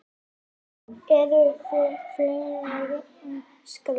Hvar eru félögin skráð?